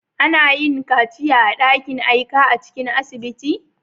Ana iya yin kaciya a'dakin aika a cikin asibiti.